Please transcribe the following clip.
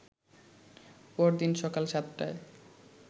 পরদিন সকাল সাতটায়